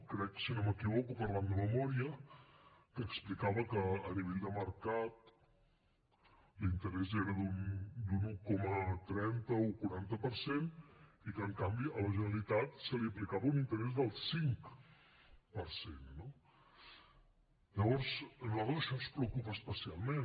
crec si no m’equivoco parlant de memòria que explicava que a nivell de mercat l’interès era d’un un coma trenta un coma quaranta per cent i que en canvi a la generalitat se li aplicava un interès del cinc per cent no llavors a nosaltres això ens preocupa especialment